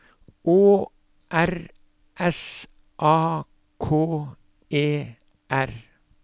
Å R S A K E R